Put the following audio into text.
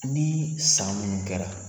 Ni san munnu kɛra